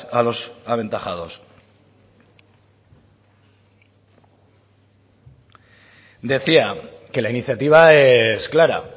a los aventajados decía que la iniciativa es clara